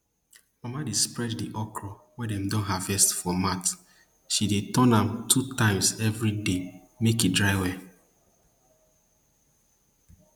mama dey spread di okro wey dem don harvest for mat she dey turn am two times every every day make e dry well